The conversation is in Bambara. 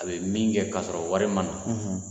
A be min kɛ ka sɔrɔ wari ma na